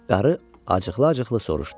Qarı acıqla-acıqla soruşdu.